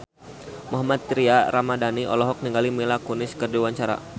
Mohammad Tria Ramadhani olohok ningali Mila Kunis keur diwawancara